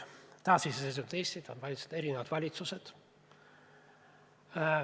Taasiseseisvunud Eestit on valitsenud erinevad valitsused.